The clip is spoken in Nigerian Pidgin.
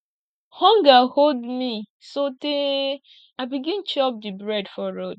hunger hold me sotee i begin chop di bread for road